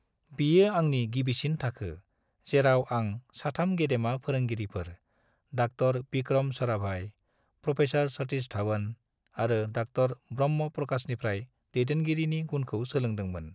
बियो आंनि गिबिसिन थाखो, जेराव आं साथाम गेदेमा फोरोंगिरिफोर- डॉ विक्रम साराभाई, प्रो सतीश धवन आरो डॉ ब्रह्म प्रकाशनिफ्राय दैदेनगिरिनि गुनखौ सोलोंदों मोन। ।